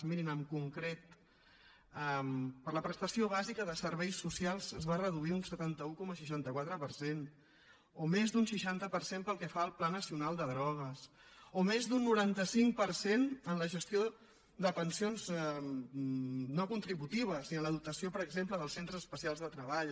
mirin en concret per a la prestació bàsica de serveis socials es va reduir un setanta un coma seixanta quatre per cent o més d’un seixanta per cent pel que fa al pla nacional de drogues o més d’un noranta cinc per cent en la gestió de pensions no contributives i en la dotació per exemple del centres especials de treball